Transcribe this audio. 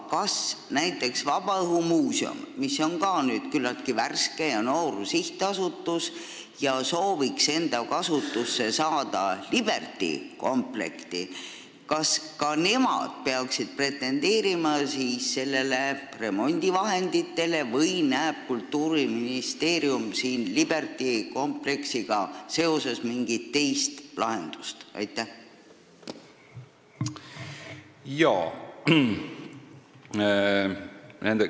Kas näiteks vabaõhumuuseum, mis on ka küllaltki värske ja noor sihtasutus ja sooviks enda kasutusse saada Liberty kompleksi, peaks pretendeerima nendele remondivahenditele või näeb Kultuuriministeerium siin mingit teist lahendust?